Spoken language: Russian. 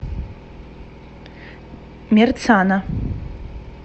мерцана